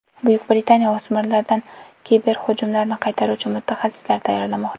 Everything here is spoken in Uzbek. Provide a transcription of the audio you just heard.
Buyuk Britaniya o‘smirlardan kiberhujumlarni qaytaruvchi mutaxassislar tayyorlamoqda.